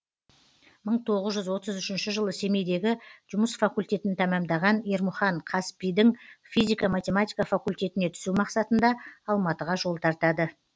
мың тоғыз жүз отыз үшінші жылы семейдегі жұмыс факультетін тәмамдаған ермұхан қазпи дің физика математика факультетіне түсу мақсатында алматыға жол тартады